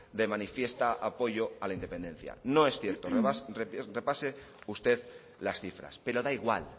de manifiesta apoyo a la independencia no es cierto repase usted las cifras pero da igual